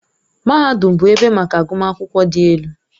Mahadum bụ ebe maka agụmakwụkwọ dị elu.